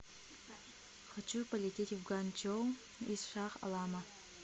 хочу полететь в ганьчжоу из шах алама